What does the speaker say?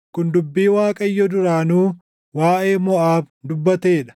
Kun dubbii Waaqayyo duraanuu waaʼee Moʼaab dubbatee dha.